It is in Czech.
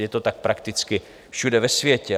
Je to tak prakticky všude ve světě.